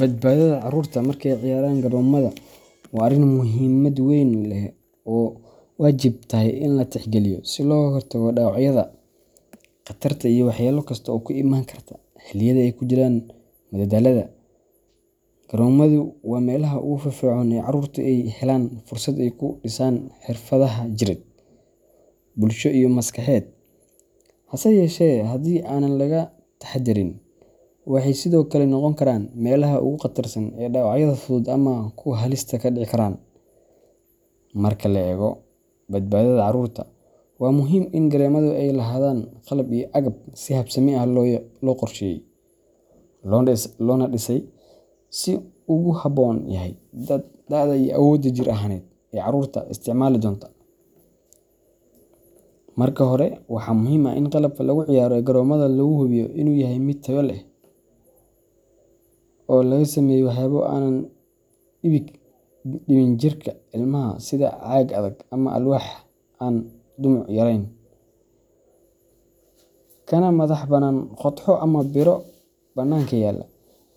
Badbaadada carruurta marka ay ciyaarayaan garoomada waa arrin muhiimad weyn leh oo ay waajib tahay in la tixgeliyo si looga hortago dhaawacyada, khatarta iyo waxyeello kasta oo ku imaan karta xilliyada ay ku jiraan madadaalada. Garoomadu waa meelaha ugu firfircoon ee carruurtu ay helaan fursad ay ku dhisaan xirfadaha jireed, bulsho iyo maskaxeed, hase yeeshee haddii aanan laga taxaddarin, waxay sidoo kale noqon karaan meelaha ugu khatarsan ee dhaawacyada fudud ama kuwa halista ahi ka dhici karaan. Marka la eego badbaadada carruurta, waa muhiim in garoomada ay lahaadaan qalab iyo agab si habsami ah loo qorsheeyay, loona dhisay si uu ugu habboon yahay da’da iyo awoodda jir ahaaneed ee carruurta isticmaali doonta. Marka hore, waxaa muhiim ah in qalabka lagu ciyaaro ee garoomada la hubiyo inuu yahay mid tayo leh, oo laga sameeyay waxyaabo aan dhibin jirka ilmaha sida caag adag ama alwaax aan dhumuc yarayn, kana madax bannaan qodxo ama biro bannaanka yaalla.